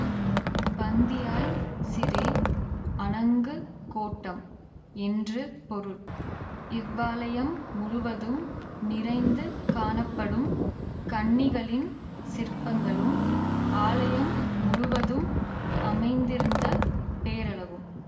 பந்தியாய் சிரே அணங்குக் கோட்டம் என்று பொருள் இவ்வாலயம் முழுவதும் நிறைந்து காணப்படும் கன்னிகளின் சிற்பங்களும் ஆலயம் முழுவதும் அமைந்திருந்த பேரழகும்